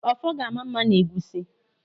Ọfọ ga-ama mma n'egwusi.